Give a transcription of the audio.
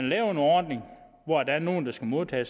laver en ordning hvor der er nogle der skal modtage